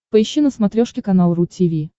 поищи на смотрешке канал ру ти ви